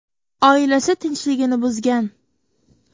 Oilasi tinchligini buzgan.